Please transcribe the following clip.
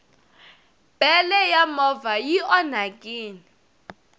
bele ya movha i onhakini